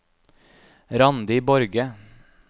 Randi Borge